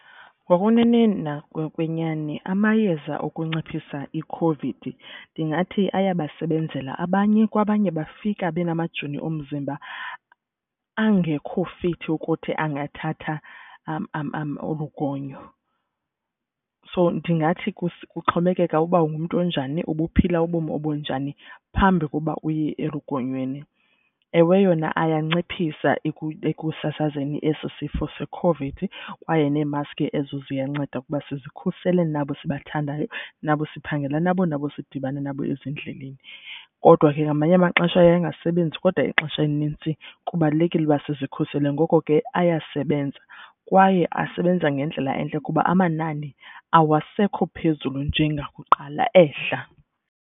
Ngokweneneni na kokwenyani amayeza okunciphisa iCOVID ndingathi ayabasebenzela abanye kwabanye bafika benamajoni omzimba angekho fithi ukuthi angathatha olu gonyo. So ndingathi kuxhomekeka uba ungumntu onjani ubuphila ubomi obunjani phambi kokuba uye elugonyweni. Ewe, yona ayanciphisa ekusasazeni esi sifo seCOVID kwaye nemaski ke ezo ziyanceda ukuba sizikhusele nabo sibathandayo nabo siphangela nabo nabo sidibana nabo ezindleleni. Kodwa ke ngamanye amaxesha aye angasebenzi kodwa ixesha elinintsi kubalulekile ukuba sizikhusele ngoko ke ayasebenza kwaye asebenza ngendlela entle kuba amanani awasekho phezulu njengakuqala ehla.